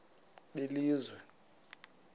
belizwe